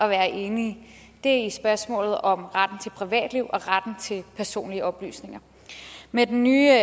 være enige er i spørgsmålet om retten til privatliv og retten til personlige oplysninger med den nye